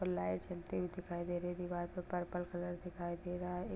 और लाइट जलते हुए दिखाई दे रहे दिवार पर पर्पल कलर दिखाई दे रहा है।